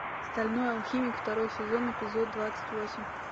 стальной алхимик второй сезон эпизод двадцать восемь